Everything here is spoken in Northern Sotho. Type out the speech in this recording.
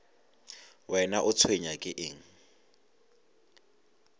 wena o tshwenywa ke eng